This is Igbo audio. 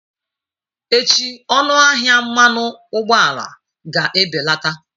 Echi ọnụ ahịa mmanụ ụgbọala ga-ebelata.